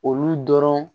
Olu dɔrɔn